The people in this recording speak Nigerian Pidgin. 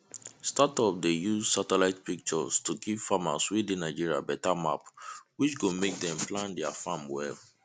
startup dey use satellite pictures to give farmers wey dey nigeria beta map which go make dem plan their farm well